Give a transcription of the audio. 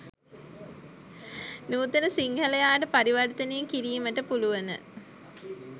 නූතන සිංහලයාට පරිවර්තනය කිරීමට පුළුවන.